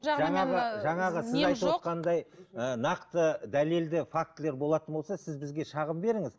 жаңағы сіз айтып ы нақты дәлелді фактілер болатын болса сіз бізге шағым беріңіз